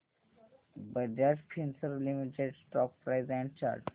Bajaj Finserv limited stock price and chart